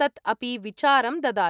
तत् अपि विचारं ददाति।